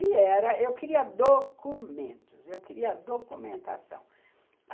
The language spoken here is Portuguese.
E eu queria documentos, eu queria documentação.